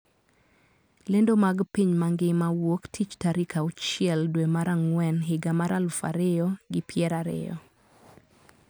Lendo mag piny mangima wuok tich tarik auchiel dwe mar ang`wen higa mar aluf ariyo gi pier ariyo